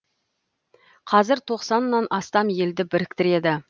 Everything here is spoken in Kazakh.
қазір тоқсаннан астам елді біріктіреді